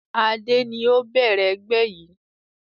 Adé ni ó bẹ̀rẹ̀ ẹgbẹ́ yìí